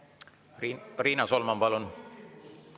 Riina Solman, palun!